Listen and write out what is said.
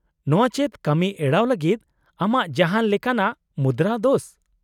-ᱱᱚᱶᱟ ᱪᱮᱫ ᱠᱟᱹᱢᱤ ᱮᱲᱟᱣ ᱞᱟᱹᱜᱤᱫ ᱟᱢᱟᱜ ᱡᱟᱦᱟᱸᱱ ᱞᱮᱠᱟᱱᱟᱜ ᱢᱩᱫᱨᱟᱹ ᱫᱳᱥ ?